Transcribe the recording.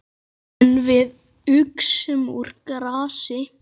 En við uxum úr grasi.